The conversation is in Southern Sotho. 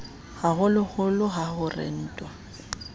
ho hoholo ha ho rentwa